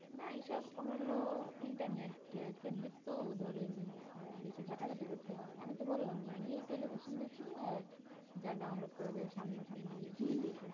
না এই সব কখনো internet কেন্দ্রিক তো ধরেন বেশি ঘটে ঘাটি করতে হয় আমি তো বলাম যে আমি টেলিভিশন দেখি আর যা download করাযায় সামনে সামনি দেখি